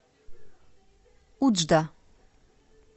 уджда